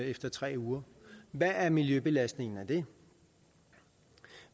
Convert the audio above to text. efter tre uger hvad er miljøbelastningen af det